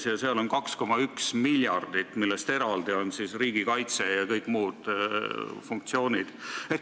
Seal on ette nähtud 2,1 miljardit, eraldi on riigikaitse ja kõik muud funktsioonid.